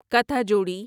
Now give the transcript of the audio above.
کتھا جوڑی